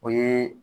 O ye